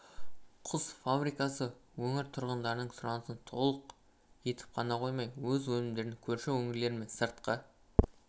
құс фабрикасы өңір тұрғындарының сұранысын толық өтеп қана қоймай өз өнімдерін көрші өңірлер мен сыртқы